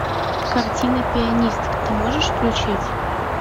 картина пианистка ты можешь включить